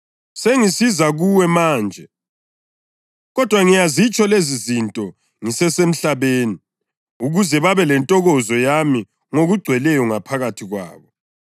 Sengisiza kuwe manje, kodwa ngiyazitsho lezizinto ngisesemhlabeni ukuze babe lentokozo yami ngokugcweleyo ngaphakathi kwabo.